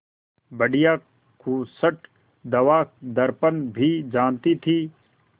बुढ़िया खूसट दवादरपन भी जानती थी